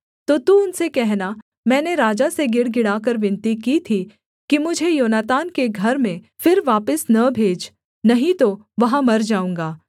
तो तू उनसे कहना मैंने राजा से गिड़गिड़ाकर विनती की थी कि मुझे योनातान के घर में फिर वापिस न भेज नहीं तो वहाँ मर जाऊँगा